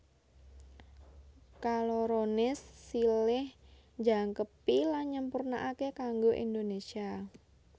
Kaloroné silih njangkepi lan nyampurnaaké kanggo Indonésia